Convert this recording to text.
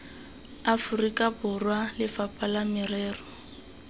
aforika borwa lefapha la merero